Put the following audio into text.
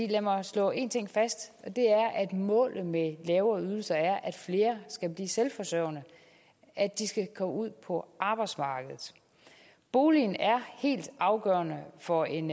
lad mig slå en ting fast og at målet med lavere ydelser er at flere skal blive selvforsørgende at de skal ud på arbejdsmarkedet boligen er helt afgørende for en